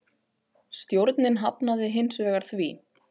Stjórnin hafnaði hins vegar því.